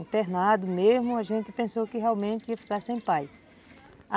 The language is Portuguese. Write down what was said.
Internado mesmo, a gente pensou que realmente ia ficar sem pai.